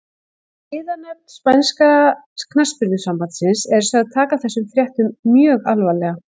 Siðanefnd spænska knattspyrnusambandsins er sögð taka þessum fréttum mjög alvarlega.